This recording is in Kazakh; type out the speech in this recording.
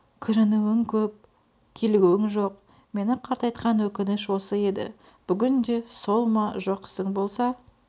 кіжінуің көп килігуің жоқ мені қартайтқан өкініш осы еді бүгін де сол ма жоқ ісің болса